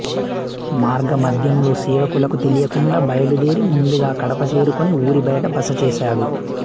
మార్గమధ్యంలో సేవకులకు తెలియకుండా బయలుదేరి ముందుగా కడప చేరుకుని ఊరి బయట బసచేసాడు